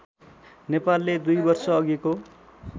नेपालले दुई वर्षअघिको